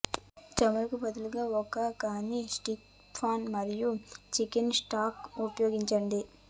చమురు బదులుగా ఒక కాని స్టిక్ పాన్ మరియు చికెన్ స్టాక్ ఉపయోగించండి